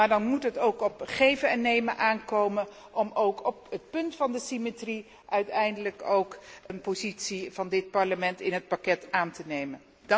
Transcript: Maar dan moet het ook op geven en nemen aankomen om ook op het punt van de symmetrie uiteindelijk een standpunt van dit Parlement over het pakket aan te nemen.